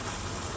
Yolu boş qoy.